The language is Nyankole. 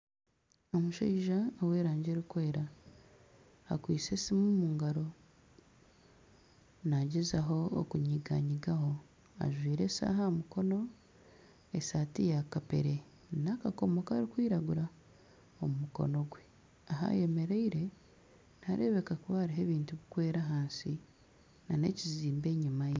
Omushaija ow'erangi erikwera akwitse esimu omu ngaro naagyezaho okunyiganyigaho ajwire eshaaha aha mukono esaati ya kapera na akakomo karikwiragura omu mukono gwe ahu ayemereire nihareebeka kuba hariho ebintu birikwera ahansi nana ekizimbe enyima ye